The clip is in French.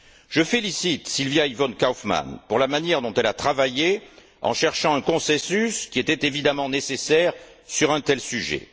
Je félicite Sylvia Yvonne Kaufmann pour la manière dont elle a travaillé en cherchant un consensus, qui était évidemment nécessaire sur un tel sujet.